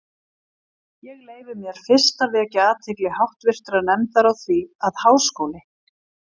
Ég leyfi mér fyrst að vekja athygli háttvirtrar nefndar á því, að Háskóli